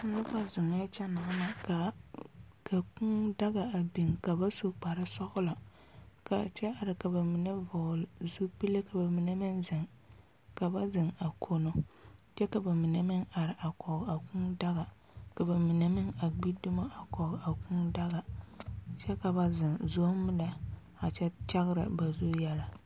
Noba ziŋ la a kyɛ na ka kūūdaga biŋ ka ba su kparre sɔglɔ ka kyɛ are ka ba mine vɔgle zupili ka ba mine meŋ ziŋ ka ba ziŋ a kono kyɛ ka bamine meŋ are kɔge a kūūdaga ka mine a gbi dumo a kɔge a kūūdaga kyɛ ka ba a ziŋ zomm lɛ a kyɛ kyɛrɛ ba zu yɛlɛ.